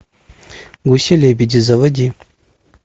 гуси лебеди заводи